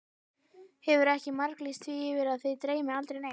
Hefurðu ekki marglýst því yfir að þig dreymi aldrei neitt?